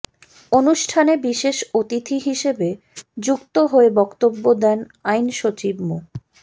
অনুষ্ঠানে বিশেষ অতিথি হিসেবে যুক্ত হয়ে বক্তব্য দেন আইন সচিব মো